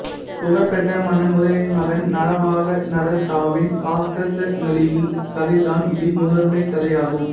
புகழ்பெற்ற மன்னர் உதயனனின் மகன் நரவாகநதத்தாவின் சாகசங்களின் கதைதான் இதில் முதன்மைக் கதை ஆகும்